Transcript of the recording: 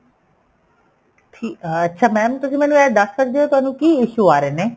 ਠੀਕ ਆ ਅੱਛਾ mam ਤੁਸੀਂ ਮੈਨੂੰ ਇਹ ਦੱਸ ਸਕਦੇ ਓ ਤੁਹਾਨੂੰ ਕੀ issue ਆ ਰਹੇ ਨੇ